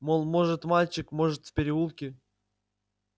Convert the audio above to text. мол может мальчик может в переулке